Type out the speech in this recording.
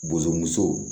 Bozomuso